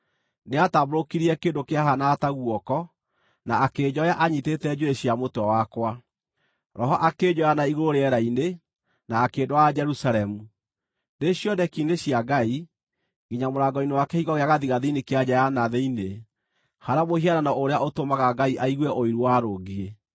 Nĩatambũrũkirie kĩndũ kĩahaanaga ta guoko na akĩnjoya anyiitĩte njuĩrĩ cia mũtwe wakwa. Roho akĩnjoya na-igũrũ rĩera-inĩ, na akĩndwara Jerusalemu, ndĩ cioneki-inĩ cia Ngai, nginya mũrango-inĩ wa kĩhingo gĩa gathigathini kĩa nja ya na thĩinĩ, harĩa mũhianano ũrĩa ũtũmaga Ngai aigue ũiru warũngiĩ.